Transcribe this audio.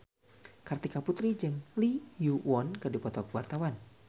Kartika Putri jeung Lee Yo Won keur dipoto ku wartawan